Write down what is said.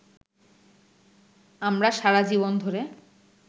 আমরা সারা জীবন ধরে